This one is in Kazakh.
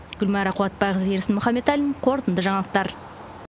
гүлмайра қуатбайқызы ерсін мұхаметалин қорытынды жаңалықтар